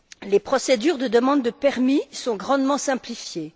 Les procédures de demande de permis sont grandement simplifiées.